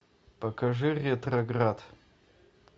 покажи ретроград